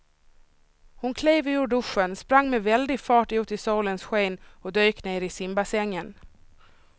Hon klev ur duschen, sprang med väldig fart ut i solens sken och dök ner i simbassängen.